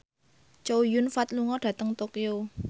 Chow Yun Fat lunga dhateng Tokyo